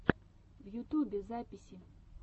в ютубе записи